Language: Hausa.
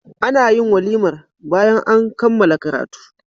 anayin walimar bayan an kammala karatu